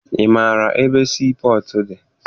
Ị maara ebe sii pọtụ dị?